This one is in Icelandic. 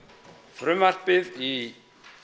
frumvarpið í